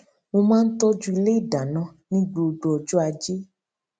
mo máa ń tọjú ilé ìdáná ní gbogbo ọjọ ajé